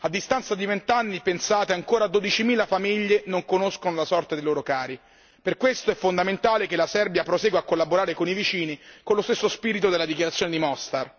A distanza di vent'anni, pensate, ancora dodicimila famiglie non conoscono la sorte dei loro cari per questo è fondamentale che la Serbia prosegua a collaborare con i vicini con lo stesso spirito della dichiarazione di Mostar.